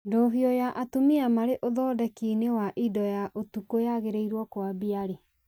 ndũhio ya atumia marĩ ũthondeki-inĩ wa indo ya ũtukũ yagĩrĩirwo kwambia rĩ